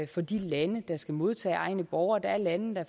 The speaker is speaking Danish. for de lande der skal modtage egne borgere der er lande der